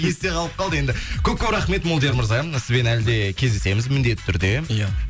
есте қалып қалды енді көп көп рахмет молдияр мырза мына сізбен әлі де кездесеміз міндетті түрде ия